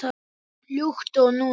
Líkt og núna.